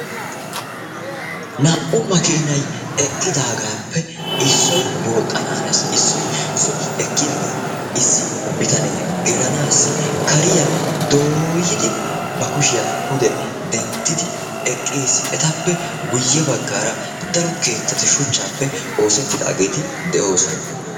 Naa"u makiinay eqqidaagaappe issoy booxxana hanes. Issoy zo"i ekkiyaagan issi bitanee gelanaassi kariya dooyidi ba kushiya pude denttidi eqqiisi. Etappe guyye baggaara daro keettati shuchchaappe oosettidaageeti de"oosona.